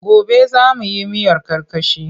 Gobe za mu yi miyar karkashi.